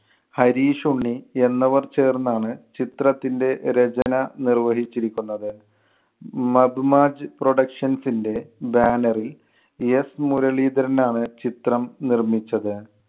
ഹരീഷ്, ഉണ്ണി എന്നിവർ ചേർന്നാണ് ചിത്രത്തിന്‍റെ രചന നിർവഹിച്ചിരിക്കുന്നത്. മധുമാജ് productions ന്‍റെ ബാനറിൽ s മുരളീധരനാണ് ചിത്രം നിർമ്മിച്ചത്.